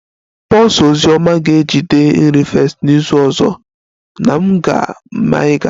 Pulse ozi ọma ga-ejide a nri fest n'izu ọzọ na m ga-maa ịga